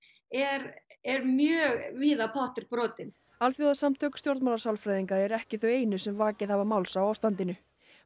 er er mjög víða pottur brotinn alþjóðasamtök stjórnmálasálfræðinga eru ekki þau einu sem vakið hafa máls á ástandinu